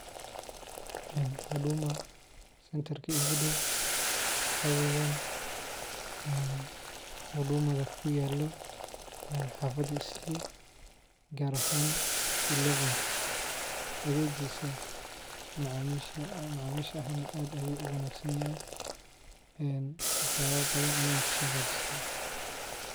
Huduma centarka giudaw waxaa weyaan hudumaga kuyaala xaafada islii gaar ahaan ilewenka. Adheegisa macaamilsha aad ayuu unaagsanyahy, waxyaabo badahn ayaan kasoohagaajiste.